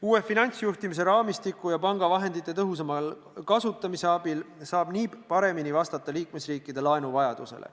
Uue finantsjuhtimise raamistiku ja panga vahendite tõhusama kasutamise abil saab NIB paremini vastata liikmesriikide laenuvajadusele.